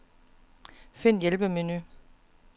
Find hjælpemenu.